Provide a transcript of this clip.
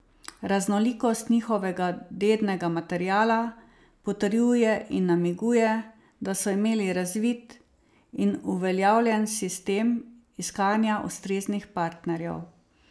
Raznolikost njihovega dednega materiala potrjuje in namiguje, da so imeli razvit in uveljavljen sistem iskanja ustreznih partnerjev.